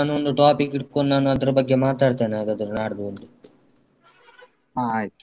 ಹ ಆಯ್ತು.